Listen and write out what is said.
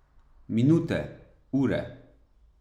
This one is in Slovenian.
Minute, ure.